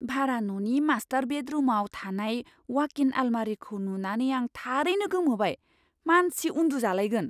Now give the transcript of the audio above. भारा न'नि मास्टार बेडरुमआव थानाय वाक इन आलमारिखौ नुनानै आं थारैनो गोमोबाय, मानसि उन्दुजालायगोन।